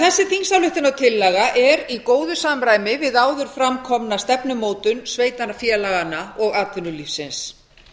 þessi þingsályktunartillaga er því í góðu samræmi við áður fram komna stefnumótun sveitarfélaganna og atvinnulífsins